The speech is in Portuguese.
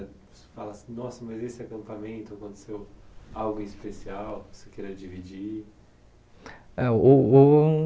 Você fala assim, nossa, mas esse acampamento aconteceu algo especial, você queira dividir? Ãh uh uh